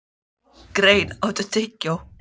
Grein, áttu tyggjó?